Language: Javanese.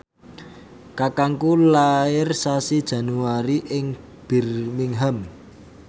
kakangku lair sasi Januari ing Birmingham